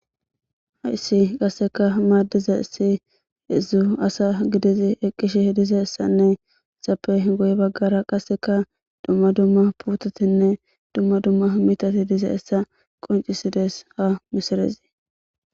hayssi qasseka maaddiza si ezu asa gidizi eqqishe hediza essanne essappe goy baggara qasseka dumma dumma putotinne dumma dumma mitati diza essa qoncisides ha misirezi